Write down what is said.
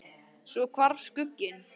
Svo hvarf skugginn.